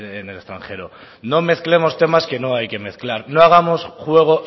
en el extranjero no mezclemos temas que no hay que mezclar no hagamos juego